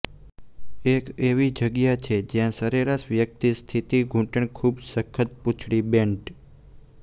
એક એવી જગ્યા છે જ્યાં સરેરાશ વ્યક્તિ સ્થિત ઘૂંટણ ખૂબ સખત પૂંછડી બેન્ટ